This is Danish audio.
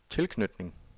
tilknytning